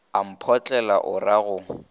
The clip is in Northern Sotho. a mphotlela o ra go